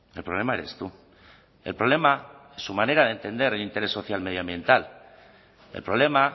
el problema eres tú el problema es su manera de entender el interés social medioambiental el problema